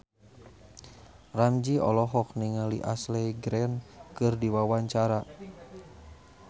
Ramzy olohok ningali Ashley Greene keur diwawancara